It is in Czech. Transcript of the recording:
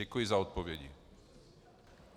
Děkuji za odpovědi.